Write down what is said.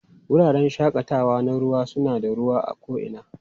Wuraren shakatawa na ruwa suna da ruwa a ko'ina